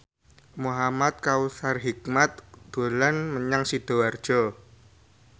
Muhamad Kautsar Hikmat dolan menyang Sidoarjo